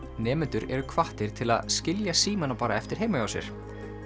nemendur eru hvattir til að skilja símana bara eftir heima hjá sér